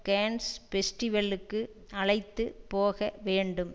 Cannes பெஸ்டிவெல்லுக்கு அழைத்து போக வேண்டும்